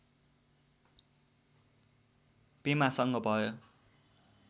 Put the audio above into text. पेमासँग भयो